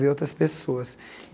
Ver outras pessoas.